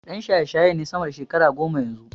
Ɗan shayeshaye ne sama da shekara goma yanzu.